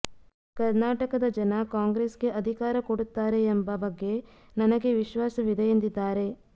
ಕರ್ನಾಟಕದ ಜನ ಕಾಂಗ್ರೆಸ್ ಗೆ ಅಧಿಕಾರ ಕೊಡುತ್ತಾರೆ ಎಂಬ ಬಗ್ಗೆ ನನಗೆ ವಿಶ್ವಾಸವಿದೆ ಎಂದಿದ್ದಾರೆ